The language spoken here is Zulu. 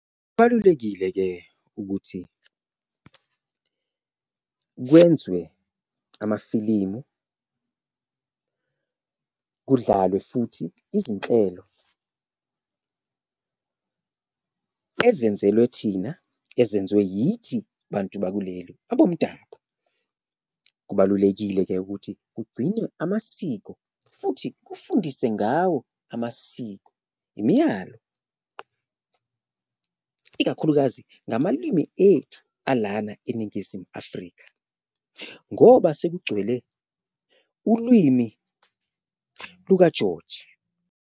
Kubalulekile-ke ukuthi kwenziwe amafilimu kudlalwe futhi izinhlelo ezenzelwe thina, ezenzwe yithi bantu bakuleli abomdabu, kubalulekile-ke ukuthi kugcine amasiko futhi kufundise ngawo amasiko, imiyalo, ikakhulukazi ngamalwimi ethu ala eNingizimu Afrika ngoba sekugcwele ulwimi lukaJoji.